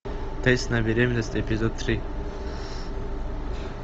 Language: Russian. тест на беременность эпизод три